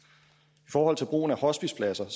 forhold til brugen af hospicepladser